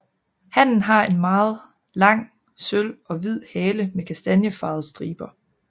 Hannen har en meget lang sølv og hvid hale med kastanjefarvede striber